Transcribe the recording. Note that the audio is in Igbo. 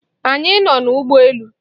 Anyị nọ n'ụgbọ elu.